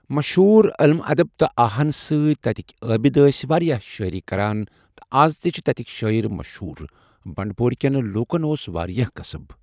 مشہوٗر علم اَدب تہٕ آہن سۭتۍ تَتِکۍ عٲبِد ٲسۍ واریاہ شٲعری کَران تہِ اَز تہِ چھِ تَتِکۍ شٲعر مشہوٗر۔ بنٛڈٕپورۍکٮ۪ن لوکَن اوس واریاہ کسب